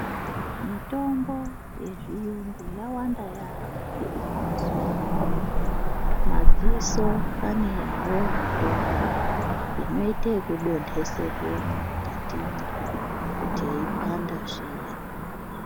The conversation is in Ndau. Mitombo yezviyungu yawanda yaamho mazuwa ano madziso ane yawoo mitombo inoite zvekudonteserwemwo mukatimwo kuti yeipanda zviya.